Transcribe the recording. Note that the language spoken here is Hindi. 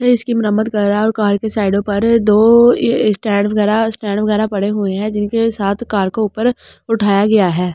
ने इसकी मराममत कर रहा है और कार के साइडों पर दो स्टैंड वगैरह स्टैंड वगैरह पड़े हुए हैं जिनके साथ कार को ऊपर उठाया गया है।